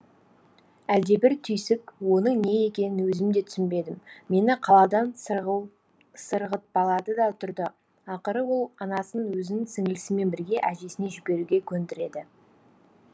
әлдебір түйсік оның не екенін өзім де түсінбедім мені қаладан сырғытпалады да тұрды ақыры ол анасын өзін сіңлісімен бірге әжесіне жіберуге көндіреді